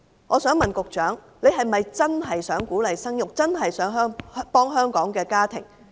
我想問局長，是否真正想鼓勵生育，真正想幫助香港的家庭？